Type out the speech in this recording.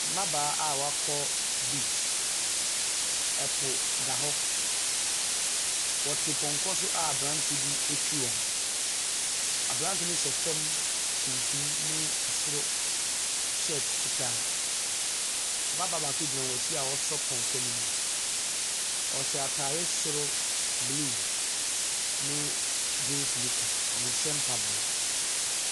Mmabaawa a wɔakɔ beach. Ɛpo da hɔ. Wɔte pɔnkɔ so a aberanteɛ bi retwi wɔn. Aberanteɛ no hyɛ fam tuntum ne soro shirt fitaa. Ababaawa baako gyina wɔn akyi a ɔresɔ pɔnkɔ no mu. Ɔhyɛ atade soro blue ne Jeans nika. Ɔnhyɛ mpaboa.